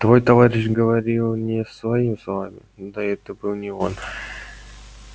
твой товарищ говорил не своими словами да это и был не он